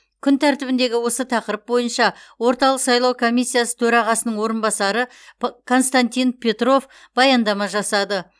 күн тәртібіндегі осы тақырып бойынша орталық сайлау комиссиясы төрағасының орынбасары константин петров баяндама жасады